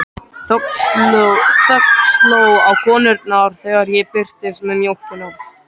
Þögn sló á konurnar þegar ég birtist með mjólkina.